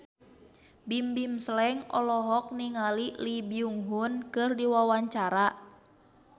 Bimbim Slank olohok ningali Lee Byung Hun keur diwawancara